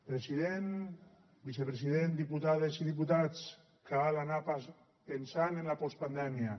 president vicepresident diputades i diputats cal anar pensant en la postpandèmia